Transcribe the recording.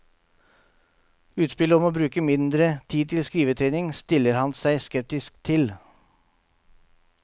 Utspillet om å bruke mindre tid til skrivetrening, stiller han seg skeptisk til.